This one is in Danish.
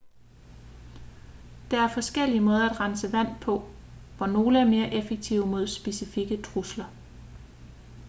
der er forskellige måder at rense vand på hvor nogle er mere effektive mod specifikke trusler